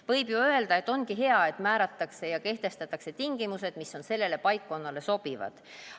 Võib ju öelda, et ongi hea, et määratakse ja kehtestatakse tingimused, mis on sellele paikkonnale sobivad.